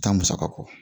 Taa musaka kɔ